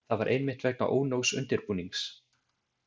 Það var einmitt vegna ónógs undirbúnings.